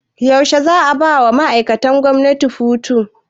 Yaushe ne za 'a bawa ma'aikatan gwamnati hutu?